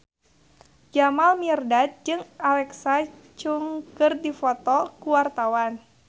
Jamal Mirdad jeung Alexa Chung keur dipoto ku wartawan